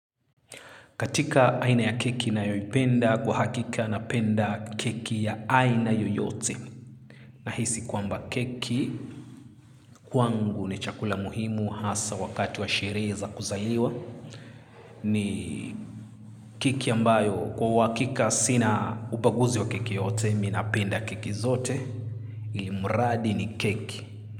Katika aina ya keki nayoyipenda kwa hakika napenda keki ya aina yoyote. Nahisi kwamba keki kwangu ni chakula muhimu hasa wakati wa sherehe za kuzaliwa. Ni keki ambayo kwa uhakika sina ubaguzi wa keki yote minapenda keki zote Ilimuradi ni keki.